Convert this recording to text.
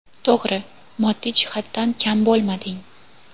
To‘g‘ri, moddiy jihatdan kam bo‘lmading.